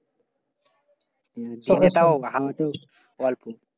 দিনে তাও হওয়া তো অল্প।